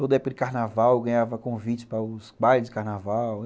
Toda época de carnaval, eu ganhava convites para os bailes de carnaval.